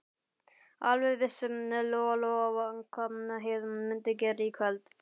Alveg vissi Lóa-Lóa hvað Heiða mundi gera í kvöld.